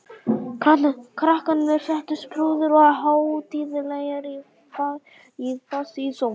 Krakkarnir settust prúðir og hátíðlegir í fasi í sófann.